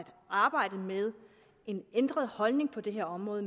arbejde med en ændret holdning på det her område